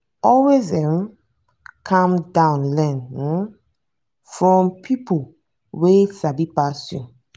always um calm down learn um from pipo wey sabi pass you.